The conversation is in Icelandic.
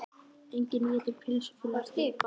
Enginn étur pylsur fyrr en eftir ball.